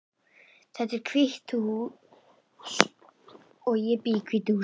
Þetta hús er hvítt. Ég bý í hvítu húsi.